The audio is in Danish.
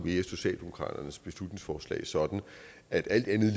mere socialdemokratiets beslutningsforslag sådan at alt andet